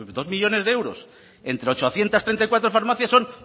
dos millónes de euros entre ochocientos treinta y cuatro farmacias son